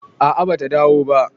a a bata dawo ba